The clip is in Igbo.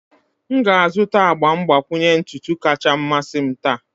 M ga-azụta agba mgbakwunye ntutu kacha mmasị m taa.